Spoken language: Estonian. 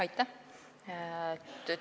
Aitäh!